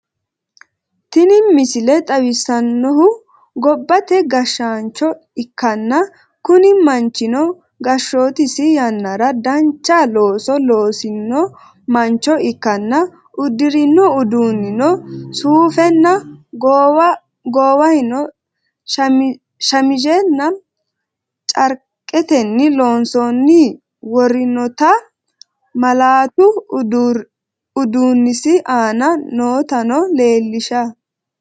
tinni miisile xawissanohu goobate gashanchoo ekkana kuuni manchinno gashottisi yannara danchaa loosu loosino manchoo ikkana uudirno uduninno suufena goowahino shamizenna charketenni loonsoni worrinotaa mallatu uudunsi aana nootano lelisha.